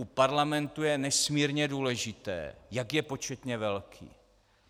U parlamentu je nesmírně důležité, jak je početně velký.